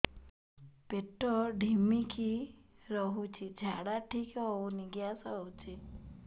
ପେଟ ଢିମିକି ରହୁଛି ଝାଡା ଠିକ୍ ହଉନି ଗ୍ୟାସ ହଉଚି